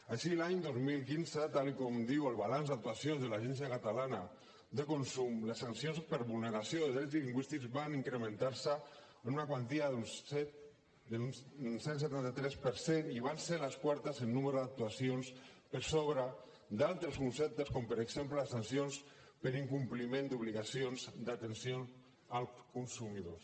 així l’any dos mil quinze tal com diu el balanç d’actuacions de l’agència catalana de consum les sancions per vulneració de drets lingüístics van incrementar se en una quantia d’un cent i setanta tres per cent i van ser les quartes en número d’actuacions per sobre d’altres conceptes com per exemple les sancions per incompliment d’obligacions d’atenció als consumidors